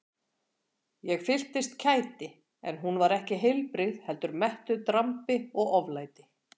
Ég fylltist kæti en hún var ekki heilbrigð heldur mettuð drambi og oflæti.